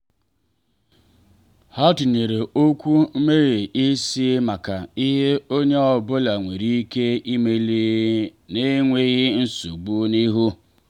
ha tinyere okwu meghee isi maka ihe onye ọ bụla nwere ike imeli n’enweghị nsogbu n’ihu.